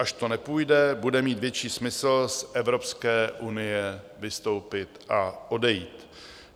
Až to nepůjde, bude mít větší smysl z Evropské unie vystoupit a odejít.